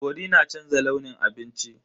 Cori na canza launin abinci.